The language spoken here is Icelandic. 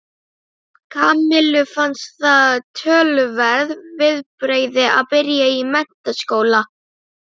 Kamillu fannst það töluverð viðbrigði að byrja í menntaskóla.